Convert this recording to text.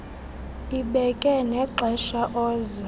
ibeke nexesha oza